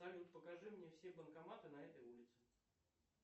салют покажи мне все банкоматы на этой улице